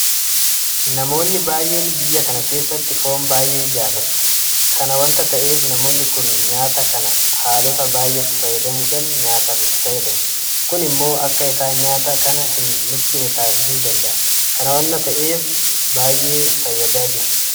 Namoonni baay'een biyya kana keessatti Foon baay'ee jaalati. Kana waanta ta'eef namoonni kun nyaata kana haalota baay'eetti fayyadamuudhaan nyaataaf itti fayyadamu. Kun immoo akka isaan nyaata kana hin nuffine taasisuu danda'a. Kana waanta ta'eef baay'ee fayyadaa jira.